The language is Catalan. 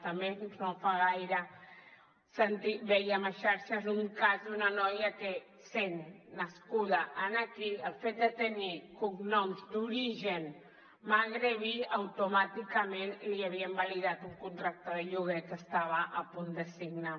també no fa gaire vèiem a les xarxes un cas d’una noia que sent nascuda aquí pel fet de tenir cognoms d’origen magrebí automàticament li havien invalidat un contracte de lloguer que estava a punt de signar